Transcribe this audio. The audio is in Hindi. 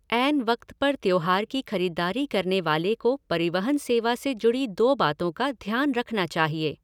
ऐन वक़्त पर त्यौहार की खरीदारी करने वाले को परिवहन सेवा से जुड़ी दो बातों का ध्यान रखना चाहिए।